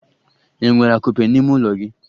Enwere akupe n'ime ụlọ gị?